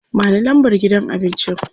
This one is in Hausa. Ba ni lambar gidan abincin.